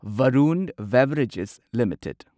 Varun beverages limited